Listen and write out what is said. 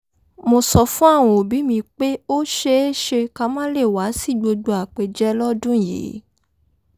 mo sọ fún àwọn òbí mi pé ó ṣeéṣe ká má lè wá sí gbogbo àpèjẹ lọ́dún yìí